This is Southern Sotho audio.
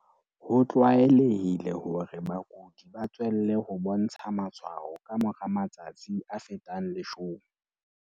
Ho tlwaelehile hore bakudi ba tswelle ho bontsha matshwao ka mora matsatsi a fetang 10.